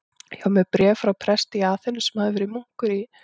Ég var með bréf frá presti í Aþenu, sem verið hafði munkur í